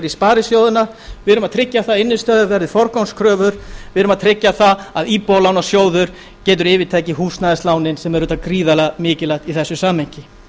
sparisjóðina við erum að tryggja að innistæður verði forgangskröfur við erum að tryggja að íbúðalánasjóður getur yfirtekið húsnæðislánin sem er auðvitað gríðarlega mikilvægt í þessu samhengi